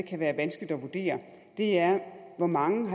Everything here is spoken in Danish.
kan være vanskeligt at vurdere er hvor mange